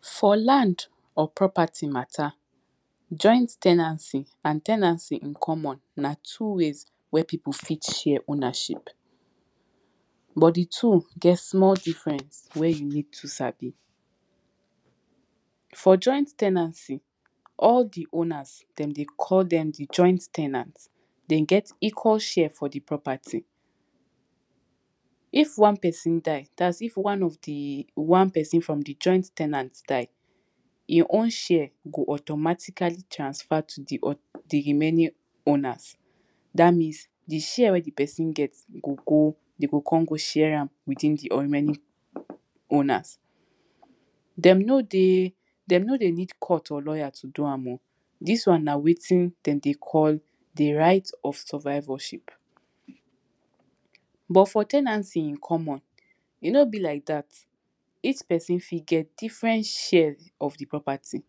for land or property mata, joint ten ancy and ten ancy common, na two ways wey people fi share ownership, but the two get small difference wen you need to sabi, for joint ten ancy all the owners dem dey call them the joint ten ant, dem get equal share for the propery. If one person die, thats if one of the one person from the joint ten ant die, e own share go automatically transfer to the own, the remaining owners, that means the share wey de person get go go, e go come go share am within the remaining owners. Dem no de, dem no dey use court or lawyers to do am o, dis one na wetin dem dey call the right of survivorship, but for ten ancy common, e no be like that, each person fi get different share of the property,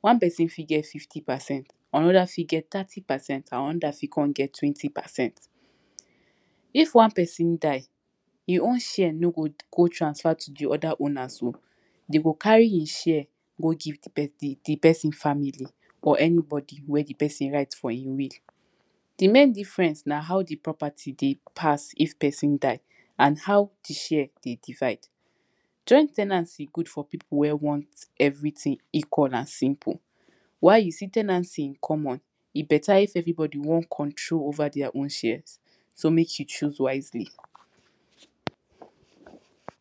one person fi get fifty percent, another fi get thirty percent and others fi con get twenty percent. if one person die, e own share no go go transfer to the other owners o, e cgo carry im share go the the person family or anybody wey de person right for im will, the main difference na how the property dey pass if person die and how the share dey divide. joint ten ancy good for people wey wan everything equal and simple while you see ten ancy common e better if everybody wan control over their own share, so make you choose wisely